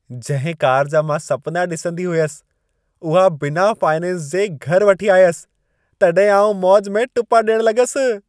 जंहिं कार जा मां सपिना ॾिसंदी हुयसि, उहा बिना फाइनेंस जे घरि वठी आयसि, तॾहिं आउं मौज में टुपा ॾियणु लॻसि।